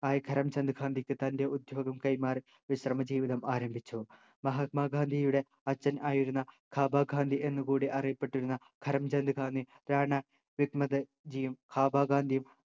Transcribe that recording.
ആയ കരം ചന്ദ് ഗാന്ധിക്ക് തൻ്റെ ഉദ്ദ്യോഗം കൈമാറി വിശ്രമ ജീവിതം ആരംഭിച്ചു മഹാത്മാഗാന്ധിയുടെ അച്ഛൻ ആയിരുന്ന കാബ ഗാന്ധി എന്നുകൂടി അറിയപ്പെട്ടിരുന്ന കരംചന്ദ് ഗാന്ധി റാണ വിമക്ത്ജിയും കാബാ ഗാന്ധിയും